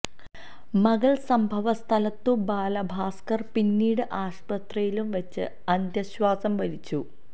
മകൾ സംഭവസ്ഥലത്തും ബാലഭാസ്കർ പിന്നീട് ആശുപത്രിയിലും വച്ച് അന്ത്യ ശ്വാസം വലിച്ചു